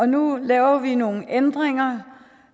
nu laver vi nogle ændringer